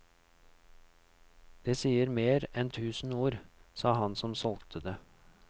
Det sier mer enn tusen ord, sa han som solgte det.